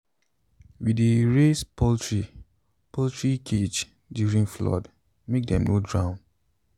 we dey raise poultry poultry cage during flood make dem no drown.